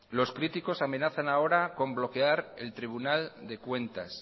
los críticos amenazan ahora con bloquear el tribunal de cuentas